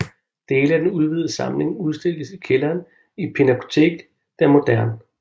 Dele af den udvidede samling udstilles i kælderen i Pinakothek der Moderne